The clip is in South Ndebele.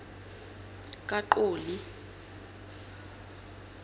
kaqoli